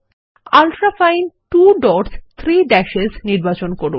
ultrafine 2 dots 3 dash নির্বাচন করুন